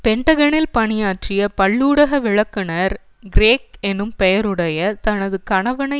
பெண்டகனில் பணியாற்றிய பல்லூடக விளக்குநர் கிரெய்க் எனும் பெயருடைய தனது கணவனை